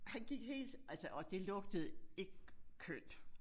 Han gik helt altså og det lugtede ikke kønt